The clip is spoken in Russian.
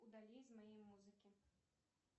удали из моей музыки